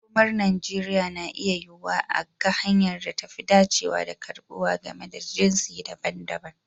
Makomar Najeriya na iya yiwuwa a ga hanyar da ta fi dacewa da karbuwa game da jinsi daban-daban.